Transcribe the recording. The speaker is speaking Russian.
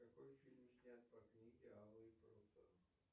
какой фильм снят по книге алые паруса